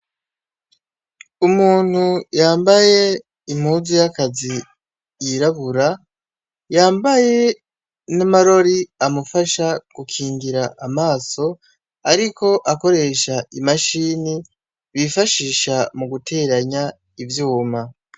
Umuntu yambaye impuzu yakazi yirabura, yambaye n'amarori amufasha gukingira amaso , ariko akoresha imashini bifashisha muguteranya ivyuma .